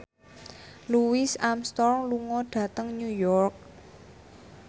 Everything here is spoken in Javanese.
Louis Armstrong lunga dhateng New York